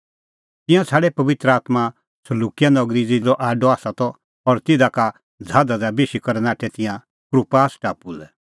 तिंयां छ़ाडै पबित्र आत्मां सलुकिआ नगरी ज़िधी ज़हाज़ो आडअ त और तिधा का ज़हाज़ा दी बेशी करै नाठै तिंयां कुप्रास टापू लै